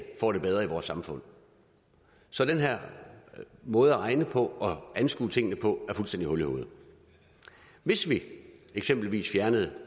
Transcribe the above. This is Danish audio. får det bedre i vores samfund så den her måde at regne på og anskue tingene på er fuldstændig hul i hovedet hvis vi eksempelvis fjernede